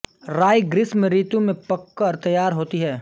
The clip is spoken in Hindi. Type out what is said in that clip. राई ग्रीष्म ऋतु में पककर तैयार होती है